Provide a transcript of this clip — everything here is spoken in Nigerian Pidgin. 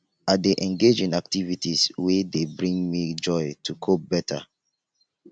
i dey engage in activities wey dey bring me joy to cope better